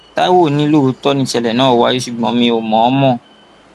taiwo ni lóòótọ nìṣẹlẹ náà wáyé ṣùgbọn mi ò mọọnmọ